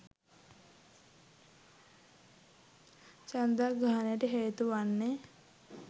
චන්ද්‍රග්‍රහණයට හේතු වන්නේ